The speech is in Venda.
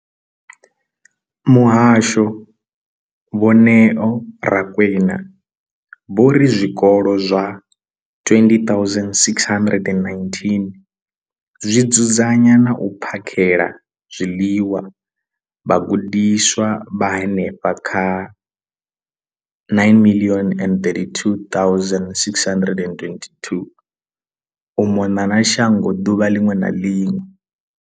Muhasho, Vho Neo Rakwena, vho ri zwikolo zwa 20 619 zwi dzudzanya na u phakhela zwiḽiwa vhagudiswa vha henefha kha 9 032 622 u mona na shango ḓuvha ḽiṅwe na ḽiṅwe.